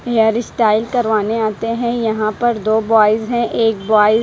hair style करवाने आते हैं यहां पर दो बॉयज हैं एक बॉय --